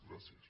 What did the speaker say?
gràcies